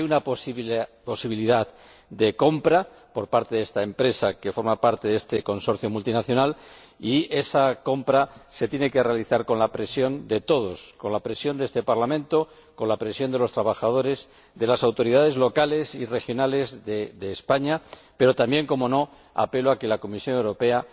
Hay una posibilidad de compra de esta empresa que forma parte de este consorcio multinacional y esa compra se tiene que realizar con la presión de todos, con la presión de este Parlamento, con la presión de los trabajadores, de las autoridades locales y regionales de España, pero también, cómo no, apelo a la Comisión Europea